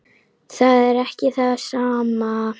Það er ekki það sama.